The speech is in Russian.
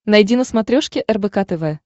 найди на смотрешке рбк тв